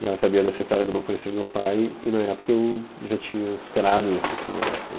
E ela sabia dessa história de eu não conhecer meu pai e na época eu já tinha superado isso, assim, eu acho, né?